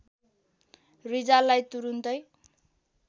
रिजाललाई तुरुन्तै